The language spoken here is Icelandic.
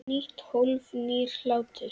Nýtt hólf- nýr hlátur